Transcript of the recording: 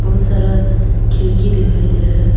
उस तरफ खिड़की दिखाई दे रहा है।